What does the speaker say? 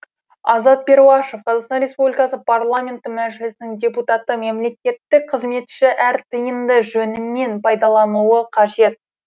азат перуашев қазақстан республикасы парламенті мәжілісінің депутаты мемлекеттік қызметші әр тиынды жөнімен пайдалануы қажет